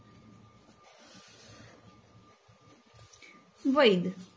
વૈધ